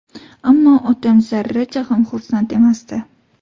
Ammo otam zarracha ham xursand emasdi.